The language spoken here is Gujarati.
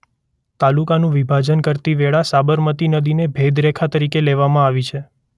તાલુકાનું વિભાજન કરતી વેળા સાબરમતી નદીને ભેદરેખા તરીકે લેવામાં આવી છે.